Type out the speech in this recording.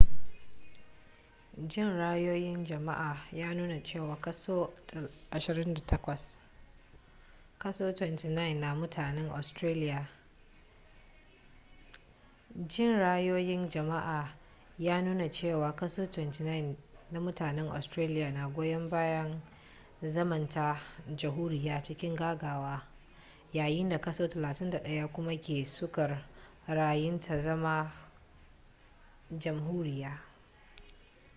jin ra'ayoyin jama'a ya nuna cewa kaso 29 na mutanen australiya na goyon bayan zamanta jamhuriyya cikin gaggawa yayin da kaso 31 kuma ke sukar ra'ayin ta zama jamhuriya